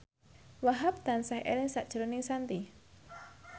Wahhab tansah eling sakjroning Shanti